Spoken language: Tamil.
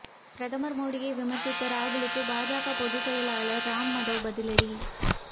பிரதமர் மோடியை விமர்சித்த ராகுலுக்கு பாஜக பொதுச்செயலர் ராம் மாதவ் பதிலடி